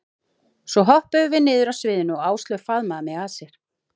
Svo hoppuðum við niður af sviðinu og Áslaug faðmaði mig að sér.